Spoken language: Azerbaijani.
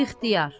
İxtiyar.